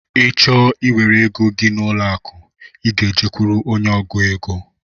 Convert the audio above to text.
Ị chọọ iwere égo gị n'ụlọ akụ, I gá e jekuru ónyé ọgụ égo.